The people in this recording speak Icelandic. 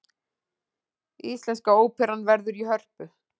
Íslenska óperan verður í Hörpu